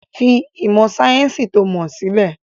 Fi ìmọ̀ sayẹ́nsi to mọ sílẹ̀!